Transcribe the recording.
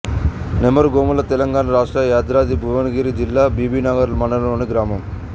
నెమరుగొములతెలంగాణ రాష్ట్రం యాదాద్రి భువనగిరి జిల్లా బీబీనగర్ మండలంలోని గ్రామం